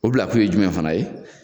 O bila kun ye jumɛn fana ye?